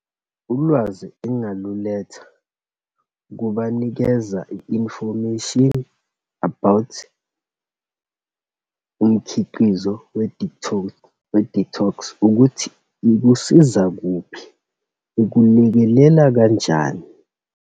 Ulwazi engaluletha ukubanikeza i-information about umkhiqizo we-detox, ukuthi ikusiza kuphi, ukulekelela kanjani.